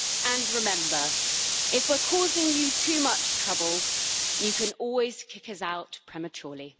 And remember if we're causing you too much trouble, you can always kick us out prematurely.